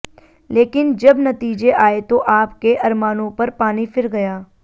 लेकिन जब नतीजे आए तो आप के अरमानों पर पानी फिर गया